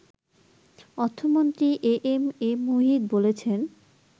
অর্থমন্ত্রী A M A Muhith বলেছেন